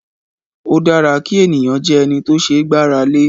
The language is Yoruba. O dára kí ènìyàn jẹ́ ẹni tó ṣe gbára lé